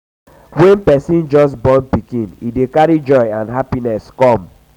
when person just just born pikin e dey carry joy and happiness come